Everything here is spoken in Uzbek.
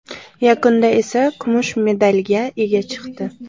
Yakunda esa kumush medalga ega chiqdi.